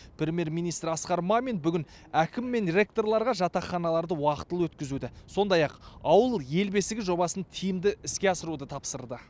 премьер министр асқар мамин бүгін әкім мен ректорларға жатақханаларды уақытылы өткізуді сондай ақ ауыл ел бесігі жобасын тиімді іске асыруды тапсырды